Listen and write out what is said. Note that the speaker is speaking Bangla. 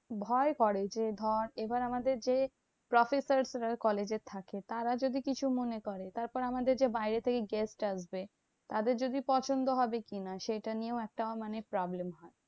ভয় করে যে, ধর এবার আমাদের যে professors রা college এ থাকে তারা যদি কিছু মনে করে। তারপরে আমাদের যে বাইরে থেকে guest আসবে। তাদের যদি পছন্দ হবে কি না? সেটা নিয়েও একটা মানে problem.